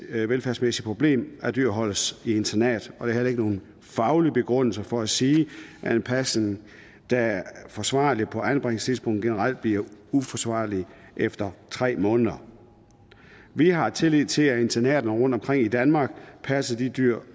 dyrevelfærdsmæssigt problem at dyr holdes i internat og heller ikke nogen faglig begrundelse for at sige at en pasning der er forsvarlig på anbringelses idspunktet generelt bliver uforsvarlig efter tre måneder vi har tillid til at internaterne rundtomkring i danmark passer de dyr